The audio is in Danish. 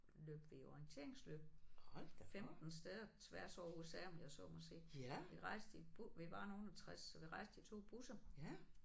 Løb vi orienteringsløb 15 steder tværs over USA om jeg så må sige vi rejste i vi var nogle af 60 så vi rejste i 2 busser